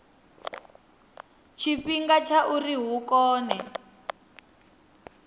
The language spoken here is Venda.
tshifhinga tsha uri hu kone